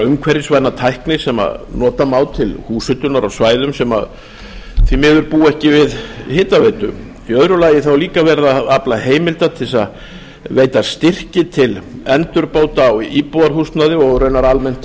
umhverfisvæna tækni sem nota má til húshitunar á svæðum sem því miður búa ekki við hitaveitu í öðru lagi er líka verið að afla heimilda til að veita styrki til endurbóta á íbúðarhúsnæði og raunar almennt